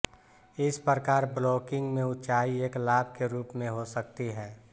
इस प्रकार ब्लॉकिंग में ऊंचाई एक लाभ के रूप में हो सकती है